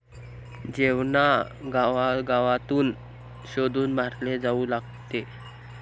जेवन्ना गावागावातून शोधून मारले जावू लागते.